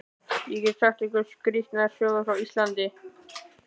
Ég get sagt ykkur skrýtnar sögur frá Íslandi.